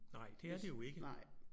Nej det er det jo ikke